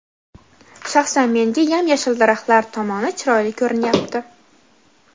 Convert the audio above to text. shaxsan menga yam-yashil daraxtlar tomoni chiroyli ko‘rinyapti.